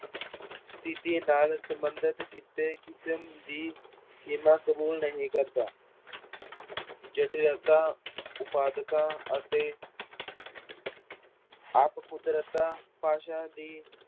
ਸਥਿੱਤੀ ਨਾਲ ਸੰਬੰਧਿਤ ਕੀਤੇ ਕਿਸਮ ਦੀ ਸੀਮਾ ਕਬੂਲ ਨਹੀਂ ਕਰਦਾ ਜਟਿਲਤਾ, ਉਪਾਧਤਾ ਅਤੇ ਆਪਹੁਦਰਤਾ ਭਾਸ਼ਾ ਦੀੀ